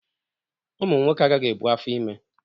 Ụmụ nwoke agaghị ebu afọ ime